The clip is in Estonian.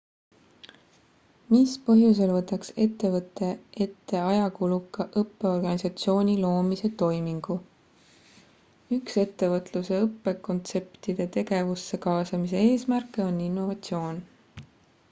mis põhjusel võtaks ettevõtte ette ajakuluka õppeorganisatsiooni loomise toimingu üks ettevõtluse õppekontseptide tegevusse kaasamise eesmärke on innovatsioon